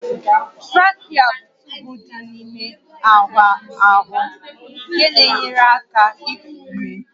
Trakịa bụ tuubu dị n'ime ahụ nke na-enyere aka iku ume